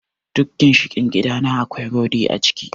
Duk ginshiƙin gidana akwai rudi a cikin.